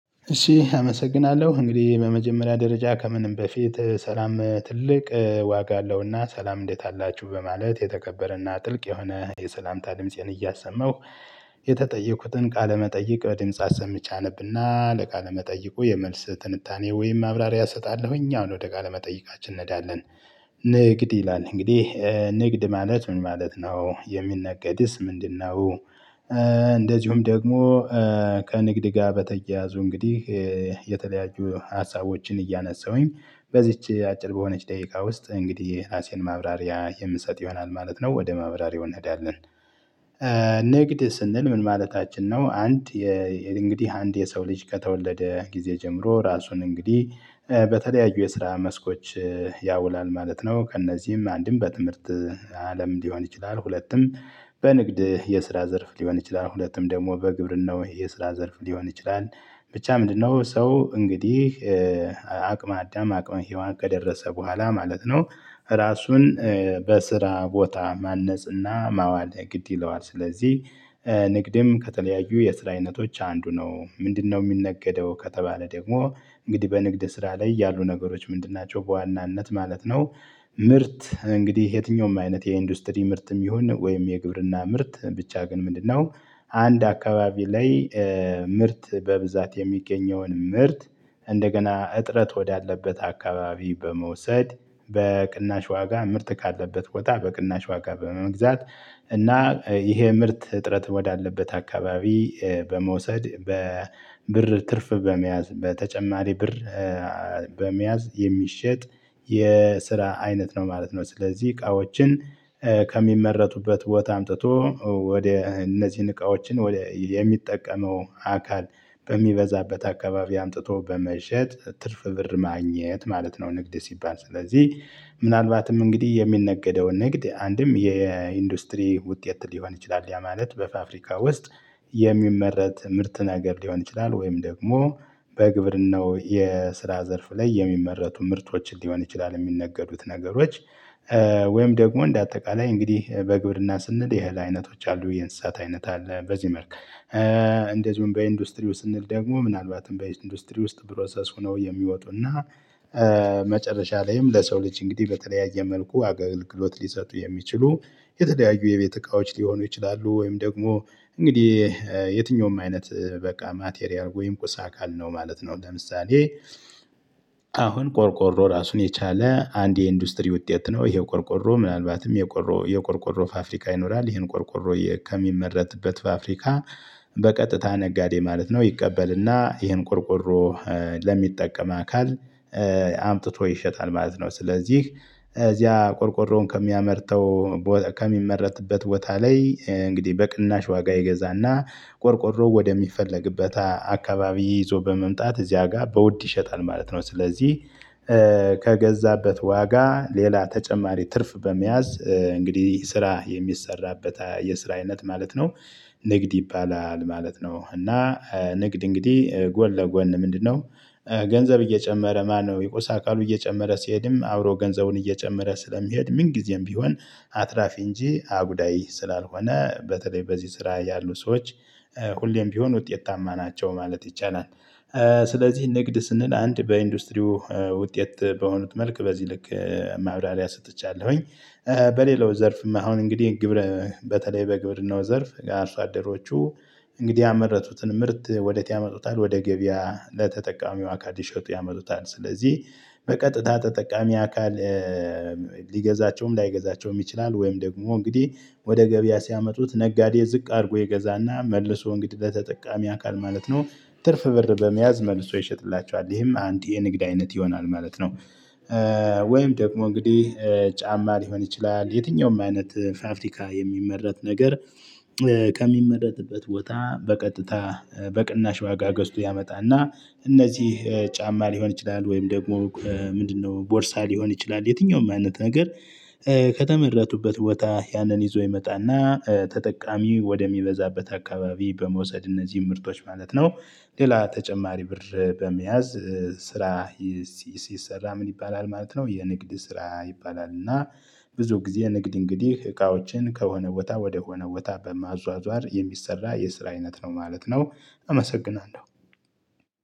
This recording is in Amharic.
እሺ አመሰግናለሁ እንግዲህ በመጀመሪያ ደረጃ ከምንም በፊት ሰላም ዋጋ አለውና ሰላም እንዴት አላችሁ በማለት የተከበረና ጥልቅ የሆነ የሰላምታ ድምፄን እያሰማሁ። የተጠየቁትን ቃለመጠይቅ ድምጻ አሰምቼ አነብና ለቃለመጠይቁ የመልስ ትንታኔ ወይም አብራሪ አሰጣለሁኝ አሁን ወደ ቃለ መጠየቃችን እንሄዳለን። ንግድ ይላል እንግዲህ ንግድ ማለት ምን ማለት ነው የሚነገድስ ምንድነው? እንደዚሁም ደግሞ ከንግድ ጋር በተያያዙ እንግዲህ የተለያዩ ሀሳቦችን እያነሳሁኝ በዚች አጭር በሆነች ደቂቃ ውስጥ እንግዲህ ራሴን ማብራሪያ የምንሰጥ ይሆናል ማለት ነው ወደ ማብራሪያው እንሄዳለን። ንግድ ስንል ምን ማለታችን ነው? አንድ እንግዲህ አንድ የሰው ልጅ ከተወለደ ጊዜ ጀምሮ ራሱን እንግዲህ በተለያዩ የስራ መስኮች ያውላል ማለት ነው። ከእነዚህም አንድም በትምህርት አለም ሊሆን ይችላል። ሁለቱም በንግድ የስራ ዘርፍ ሊሆን ይችላል። ሁለቱም ደግሞ በግብር ነው ይሄ ስራ ዘርፍ ሊሆን ይችላል። ብቻ ምንድነው? ሰው እንግዲህ አቅመ አዳም አቅመ ሄዋን ከደረሰ በኋላ ማለት ነው። ራሱን በስራ ቦታ ማነጽና ማዋል ግድ ይለዋል። ስለዚህ ንግድም ከተለያዩ የስራ አይነቶች አንዱ ነው። ምንድነው? የሚነገደው ከተባለ ደግሞ እንግዲህ በንግድ ስራ ላይ ያሉ ነገሮች ምንድን ናቸው በዋናነት ማለት ነው። ምርት እንግዲህ የትኛውም አይነት የኢንዱስትሪ ምርትም ይሁን ወይም የግብርና ምርት ብቻ ግን ምንድነው? አንድ አካባቢ ላይ ምርት በብዛት የሚገኘውን ምርት እንደገና እጥረት ወዳለበት አካባቢ በመውሰድ በቅናሽ ዋጋ ምርት ካለበት ቦታ በቅናሽ ዋጋ በመግዛት እና ይሄ ምርት እጥረት ወዳለበት አካባቢ በመውሰድ በብር ትርፍ በመያዝ በተጨማሪ ብር። በመያዝ የሚሸጥ የስራ አይነት ነው ማለት ነው። ስለዚህ እቃዎችን ከሚመረቱበት ቦታ አምጥቶ ወደ እነዚህን እቃዎችን ወደ የሚጠቀመው አካል በሚበዛበት አካባቢ አምጥቶ በመሸጥ ትርፍ ብር ማግኘት ማለት ነው። ንግድ ሲባል ስለዚህ ምናልባትም እንግዲህ የሚነገደውን ንግድ አንድም የኢንዱስትሪ ውጤት ሊሆን ይችላል ያ ማለት በፋፍሪካ ውስጥ የሚመረት ምርት ነገር ሊሆን ይችላል። ወይም ደግሞ በግብርናው የስራ ዘርፍ ላይ የሚመረቱ ምርቶች ሊሆን ይችላል የሚነገዱት ነገሮች። ወይም ደግሞ እንደ አጠቃላይ እንግዲህ በግብርና ስንል ያህል አይነቶች አሉ የእንስሳት አይነት አለ በዚህ መልኩ። እንደዚሁም በኢንዱስትሪው ስንል ደግሞ ምናልባትም በኢንዱስትሪ ውስጥ ፕሮሰስ ሆነው የሚወጡና መጨረሻ ላይም ለሰው ልጅ እንግዲህ በተለያየ መልኩ አገልግሎት ሊሰጡ የሚችሉ የተደያዩ የቤት እቃዎች ሊሆኑ ይችላሉ። ወይም ደግሞ እንግዲህ የትኛውም አይነት በቃ ማቴሪያል ወይም ቁሳ አካል ነው ማለት ነው። ለምሳሌ አሁን ቆርቆሮ ራሱን የቻለ አንድ የኢንዱስትሪ ውጤት ነው። ይሄው ቆርቆሮ ምናልባትም የቆሮ የቆርቆሮ ፋፍሪካ ይኖራል ይሄን ቆርቆሮ ከሚመረትበት ፋፍሪካ በቀጥታ ነጋዴ ማለት ነው ይቀበልና ይህን ቁርቁሮ ለሚጠቀም አካል አምጥቶ ይሸጣል ማለት ነው። ስለዚህ እዚያ ቆርቆሮውን ከሚያመርተው ከሚመረትበት ቦታ ላይ እንግዲህ በቅናሽ ዋጋ ይገዛና ቆርቆሮ ወደሚፈለግበት አካባቢ ይዞ በመምጣት እዚያ ጋር በውድ ይሸጣል ማለት ነው። ስለዚህ ከገዛበት ዋጋ ሌላ ተጨማሪ ትርፍ በመያዝ እንግዲህ ስራ የሚሰራበት የስራ አይነት ማለት ነው። ንግድ ይባላል ማለት ነው። እና ንግድ እንግዲህ ጎን ለጎን ምንድነው? ገንዘብ እየጨመረ ማነው የቆሳ አካሉ እየጨመረ ሲሄድም አብሮ ገንዘቡን እየጨመረ ስለሚሄድ ምን ጊዜም ቢሆን አትራፊ እንጂ አጉዳይ ስላልሆነ በተለይ በዚህ ስራ ያሉ ሰዎች ሁሌም ቢሆን ውጤታማ ናቸው ማለት ይቻላል። ስለዚህ ንግድ ስንል አንድ በኢንዱስትሪው ውጤት በሆኑት መልክ በዚህ ልክ ማውራሪያ ሰጥቻለሁኝ። በሌላው ዘርፍም አሁን እንግዲህ ግብር በተለይ በግብርናው ዘርፍ አርሶ አደሮቹ እንግዲህ ያመረቱትን ምርት ወደ ቲያመጡታል ወደ ገበያ ለተጠቃሚው አካል ይሸጡ ያመጡታል። ስለዚህ በቀጥታ ተጠቃሚ አካል ሊገዛቸውም ላይገዛቸውም ይችላል። ወይም ደግሞ እንግዲህ ወደ ገበያ ሲያመጡት ነጋዴ ዝቅ አድርጎ የገዛና መልሶ እንግዲህ ለተጠቃሚ አካል ማለት ነው ትርፍ ብር በመያዝ መልሶ ይሸጥላቸዋል ይሄም አንድ የንግድ አይነት ይሆናል ማለት ነው። ወይም ደግሞ እንግዲህ ጫማ ሊሆን ይችላል። የትኛውም አይነት ፋብሪካ የሚመረት ነገር ከሚመረጥበት ቦታ በቀጥታ በቅናሽ ዋጋ ገዝቶ ያመጣና እነዚህ ጫማ ሊሆን ይችላል ወይም ደግሞ ምንድነው ቦርሳ ሊሆን ይችላል። የትኛውም አይነት ነገር ከተመረጡበት ቦታ ያንን ይዞ ይመጣና ተጠቃሚ ወደሚበዛበት አካባቢ በመውሰድ እነዚህ ምርቶች ማለት ነው። ሌላ ተጨማሪ ብር በመያዝ ስራ ሲሰራ ምን ይባላል ማለት ነው። የንግድ ስራ ይባላል። እና ብዙ ጊዜ ንግድ እንግዲህ ከሆነ ወታ ወደሆነ ወታ በማዟዟር የሚሰራ የስራ አይነት ነው ማለት ነው። አመሰግናለሁ።